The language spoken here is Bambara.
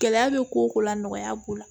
Gɛlɛya bɛ ko o ko la nɔgɔya b'o la